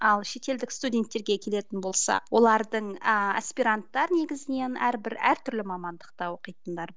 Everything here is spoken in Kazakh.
ал шетелдік студенттерге келетін болсақ олардың ааа аспиранттар негізінен әрбір әр түрлі мамандықта оқитындар